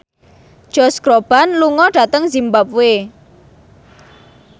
Josh Groban lunga dhateng zimbabwe